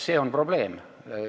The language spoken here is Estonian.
See on probleem.